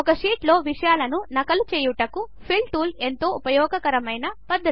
ఒక షీట్లో విషయాలను నకలు చేయుటకు ఫిల్ టూల్ ఎంతో ఉపయోగకరమైన పద్ధతి